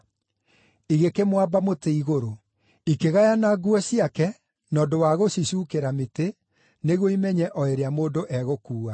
Igĩkĩmwamba mũtĩ igũrũ. Ikĩgayana nguo ciake, na ũndũ wa gũcicuukĩra mĩtĩ nĩguo imenye o ĩrĩa mũndũ egũkuua.